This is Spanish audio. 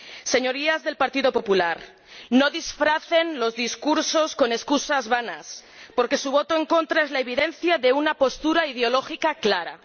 Señorías del Partido Popular, no disfracen los discursos con excusas vanas, porque su voto en contra es la evidencia de una postura ideológica clara.